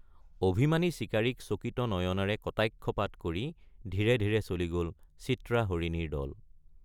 অভিমানী চিকাৰীক চকিত নয়নেৰে কটাক্ষপাত কৰি ধীৰে ধীৰে চলি গল চিত্ৰা হৰিণীৰ দল।